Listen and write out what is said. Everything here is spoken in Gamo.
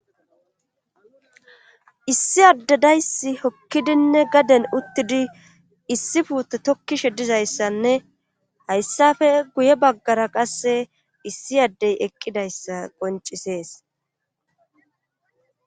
issi addedayssi hokkidinne gaden uttidi issi puute tokkishe dizayssanne hayssafe guye baggara qasse issi addey eqqidayssa qoncisees